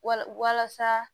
Wala walasa